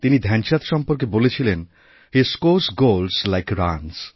তিনি ধ্যানচাঁদ সম্পর্কেবলেছিলেন হে scores goals like runs